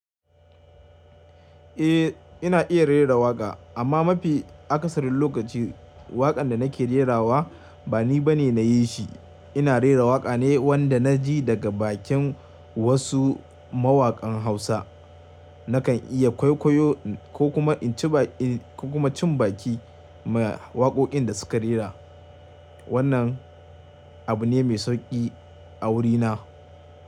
Eh ina iya rera waƙa, amma mafi akasarin lokaci waƙan da nake rerawa ba ni bane na yi shi. Ina rera waƙa ne wanda na ji daga bakin wasu mawaƙan Hausa. Nakan iya kwaikwayo, ko kuma in ci baki ma waƙoƙin da suka rera. Wannan abu ne mai sauƙi a wurina.